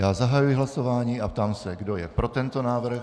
Já zahajuji hlasování a ptám se, kdo je pro tento návrh.